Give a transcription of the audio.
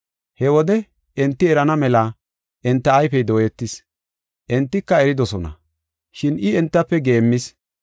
He wode enti erana mela enta ayfey dooyetis. Entika eridosona. Shin I entafe geemmis.